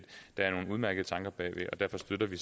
der er nogle udmærkede tanker bagved og derfor støtter vi